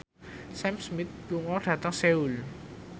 Sam Smith lunga dhateng Seoul